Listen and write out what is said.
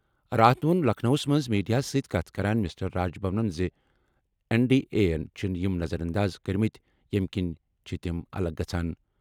راتھ ووٚن لکھنؤَس منٛز میڈیاہَس سۭتۍ کَتھ کران مسٹر راج بھرَن زِ این ڈی اے یَن چھِ یِم نظر انداز کٔرمٕتۍ، ییٚمہِ کِنۍ چھِ تِم الگ گژھان۔